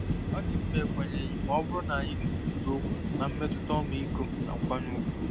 Ọ dị mma ikwenyeghị ma ọ bụrụ na anyị na-ekwurịta okwu na mmetụta ọmịiko na nkwanye ùgwù.